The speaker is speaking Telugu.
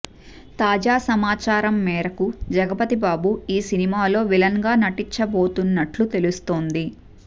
తాజా సమాచారం మేరకు జగపతిబాబు ఈ సినిమాలో విలన్ గా నటించబోతున్నట్లు తెలుస్తోంది